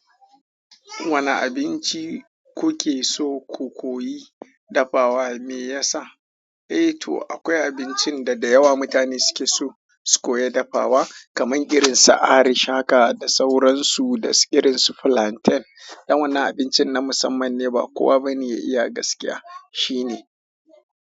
Wane abinci kuke so ku koyi dafawa me yasa? Eh to akwai abincin da da yawa mutane suke so su koya dafawa kamar irin sa arish haka da sauransu da irin su flanten. Dan wannan abincin na musamman ne ba kowa bane ya iya gaskiya shine.